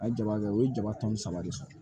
A ye jama kɛ u ye jama tɔmi saba de sɔrɔ